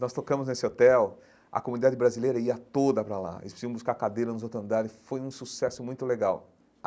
Nós tocamos nesse hotel, a comunidade brasileira ia toda para lá, eles precisavam buscar cadeira nos outro andares, e foi um sucesso muito legal.